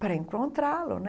para encontrá-lo.